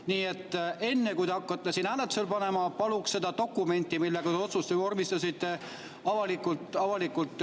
Nii et enne, kui te hakkate siin midagi hääletusele panema, paluks teha see dokument, millega te otsuse vormistasite, avalikuks.